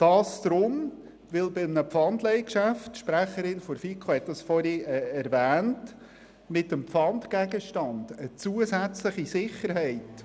Denn bei einem Pfandleihgeschäft – die Sprecherin der FiKo hat es vorhin erwähnt – erhält der Gläubiger mit dem Pfandgegenstand zusätzliche Sicherheit.